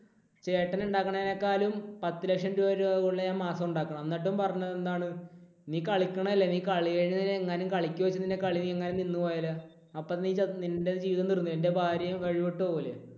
ചേട്ടൻ ഉണ്ടാക്കുന്നതിനേക്കാളും പത്തുലക്ഷം രൂപ കൂടുതൽ ഞാൻ മാസം ഉണ്ടാക്കുന്നു. എന്നിട്ടും പറഞ്ഞത് എന്താണ്? നീ കളിക്കണതല്ലേ? നീ കളിക്ക് പോയിട്ട് നീ കളി എങ്ങാനും നിന്ന് പോയാലോ? അപ്പോൾ നീ ച നിൻറെ ജീവിതം തീർന്നു. നിൻറെ ഭാര്യയും വഴിവിട്ട് പോവില്ലേ?